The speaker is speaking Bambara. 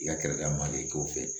I ka kɛlɛda manden k'o fɛ